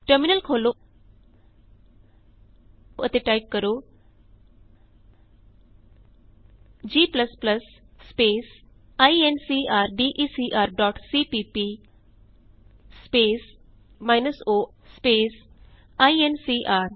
terminal ਖੋਲ੍ਹੋ ਅਤੇ type ਕਰੋ g ਸਪੇਸ ਇਨਕਰਡੇਕਰ dot CPP space minus o space INCR